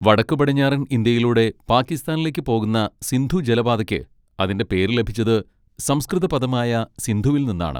വടക്കുപടിഞ്ഞാറൻ ഇന്ത്യയിലൂടെ പാകിസ്ഥാനിലേക്ക് പോകുന്ന സിന്ധു ജലപാതയ്ക്ക് അതിന്റെ പേര് ലഭിച്ചത് സംസ്കൃത പദമായ സിന്ധുവിൽ നിന്നാണ്.